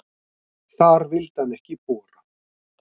Þar vildi hann ekki bora.